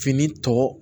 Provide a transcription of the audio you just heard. Fini tɔ